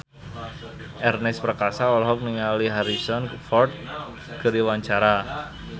Ernest Prakasa olohok ningali Harrison Ford keur diwawancara